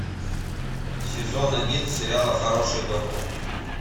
сезон один сериала хороший доктор